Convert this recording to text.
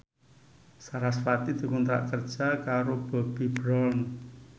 sarasvati dikontrak kerja karo Bobbi Brown